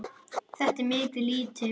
Þetta er mikið lýti.